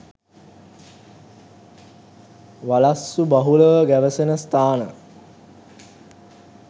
වලස්සු බහුලව ගැවසෙන ස්ථාන